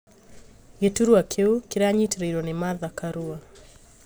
Gĩturwa kĩu kĩranyitĩrĩirwo nĩ martha karũa